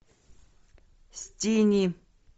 стини